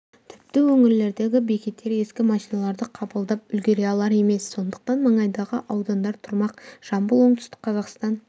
тіпті өңірлердегі бекеттер ескі машиналарды қабылдап үлгере алар емес сондықтан маңайдағы аудандар тұрмақ жамбыл оңтүстік қазақстан